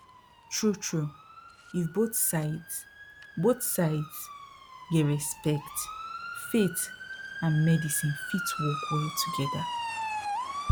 truetrue if both sides both sides get respect faith and medicine fit work well together